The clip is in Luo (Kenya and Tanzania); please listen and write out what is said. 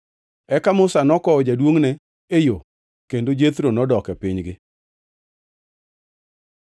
Eka Musa nokowo jaduongʼne e yo kendo Jethro nodok e pinygi.